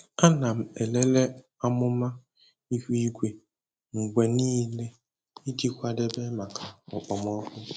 Ana m elele amụma ihu igwe mgbe niile iji kwadebe maka okpomọkụ.